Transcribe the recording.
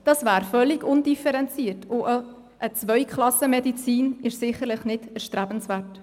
Das wäre völlig undifferenziert, und auch eine Zweiklassenmedizin ist sicher nicht erstrebenswert.